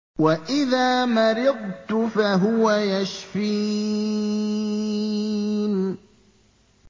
وَإِذَا مَرِضْتُ فَهُوَ يَشْفِينِ